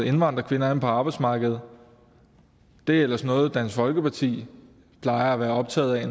indvandrerkvinder ind på arbejdsmarkedet det er ellers noget dansk folkeparti plejer at være optaget af